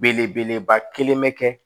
Belebeleba kelen bɛ kɛ